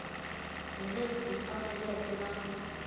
hi lebyi faneleke na ku